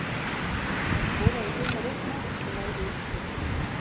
Þar skoraði Gunnar eitt mark og lagði upp tvö.